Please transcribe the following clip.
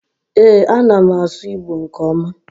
ee, a na m asu igbo nke oma